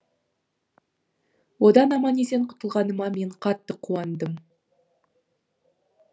одан аман есен құтылғаныма мен қатты қуандым